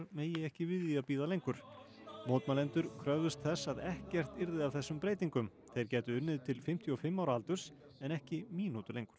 megi ekki við því að bíða lengur mótmælendur kröfðust þess að ekkert yrði af þessum breytingum þeir gætu unnið til fimmtíu og fimm ára aldurs en ekki mínútu lengur